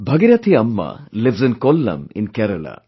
Bhagirathi Amma lives in Kollam in Kerala